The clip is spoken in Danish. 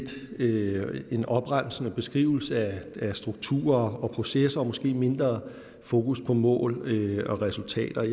blive en opremsende beskrivelse af strukturer og processer og måske med mindre fokus på mål og resultater